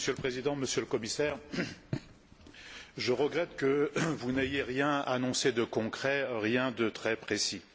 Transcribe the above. Monsieur le Président, Monsieur le Commissaire, je regrette que vous n'ayez rien annoncé de concret, rien de très précis.